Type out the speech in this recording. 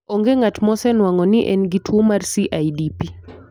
Onge ng'at mosenwang'o ni en gi tuwo mar CIDP.